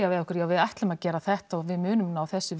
við okkur já við ætlum að gera þetta og við munum ná þessu